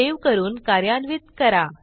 save करून कार्यान्वित करा